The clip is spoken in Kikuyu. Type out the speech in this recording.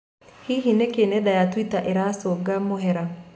Hihi, niki nenda ya Twitter iracũnga mũhera?